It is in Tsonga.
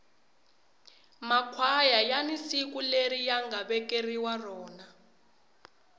makhwaya yani siku leri yanga vekeriwa rona